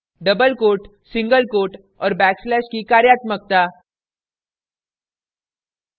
* double quote single quote और backslash की कार्यात्मकता